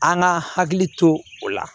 An ka hakili to o la